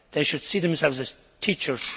They should see themselves as teachers.